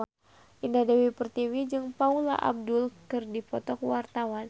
Indah Dewi Pertiwi jeung Paula Abdul keur dipoto ku wartawan